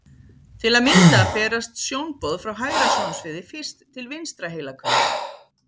Til að mynda berast sjónboð frá hægra sjónsviði fyrst til vinstra heilahvels.